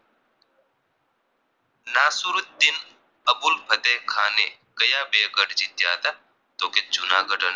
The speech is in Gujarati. નાસરુંદિન અબુલ ફતેહખાને કાયા બે ગઢ જીત્યા હતા તો કે જૂનાગઢ અને